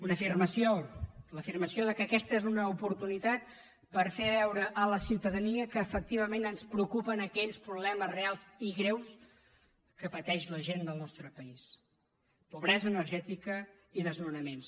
una afirmació l’afirmació que aquesta és una oportunitat per fer veure a la ciutadania que efectivament ens preocupen aquells problemes reals i greus que pateix la gent del nostre país pobresa energètica i desnonaments